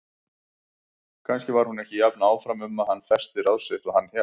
Kannski var hún ekki jafn áfram um að hann festi ráð sitt og hann hélt.